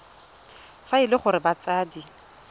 fa e le gore batsadi